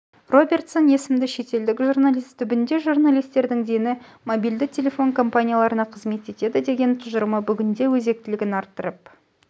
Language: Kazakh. робертсон есімді шетелдік журналист түбінде журналистердің дені мобильді телефон компанияларына қызмет етеді деген тұжырымы бүгінде өзектілігін арттырып